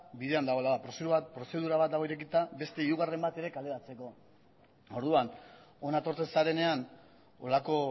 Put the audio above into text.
bidean dagoela prozedura bat dago irekita beste hirugarren bat ere kaleratzeko orduan hona etortzen zarenean holako